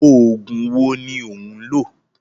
Oògùn wo ni ó ń lò?